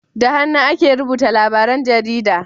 da hannu ake rubuta labaran jarida da